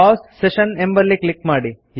pause session ಎಂಬಲ್ಲಿ click ಮಾಡಿ